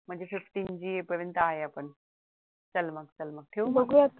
म्हणजे fifteen G पर्यंत आहे आपण चल मग चल मग